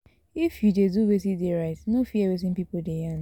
If you de do wetin de right no fear wetin pipo de yarn